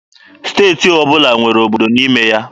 Steeti ọbụla nwere obodo n'ime ya.